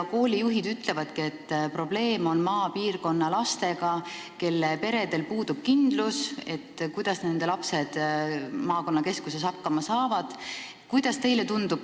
Koolijuhid ütlevad, et probleem on maapiirkonna lastega, sest peredel puudub kindlus, kuidas lapsed maakonnakeskuses hakkama saavad.